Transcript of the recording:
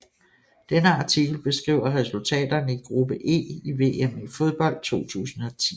Denne artikel beskriver resultaterne i gruppe E i VM i fodbold 2010